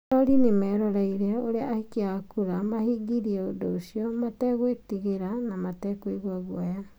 Arori nĩ merorĩire ũrĩa aikia a kura mahingirie ũndũ ũcio, mategwĩtigĩra na matakũigua guoya.